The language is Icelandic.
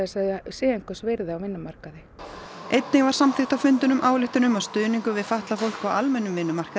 að þau séu einhvers virði á vinnumarkaði einnig var samþykkt á fundinum ályktun um að stuðningur við fatlað fólk á almennum vinnumarkaði